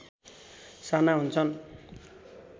साना हुन्छन्